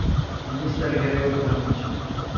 Minister Gregor pa nič.